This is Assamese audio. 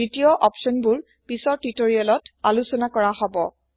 দ্বিতীয় অপচন বোৰপিছৰ টিউটৰিয়েল তআলোচনাকৰাহব